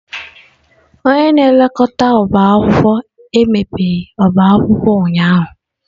Onye na-elekọta ọbá akwụkwọ emebeghị ọba akwụkwọ ụnyahụ.